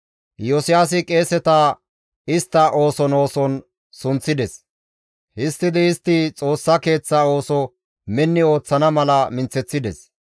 Iyosiyaasi qeeseta istta ooson ooson sunththides; histtidi istti Xoossa keeththaa ooso minni ooththana mala minththeththides.